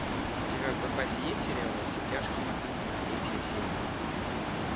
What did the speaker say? у тебя в запасе есть сериал во все тяжкие тридцать третья серия